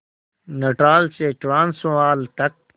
Natal से Transvaal तक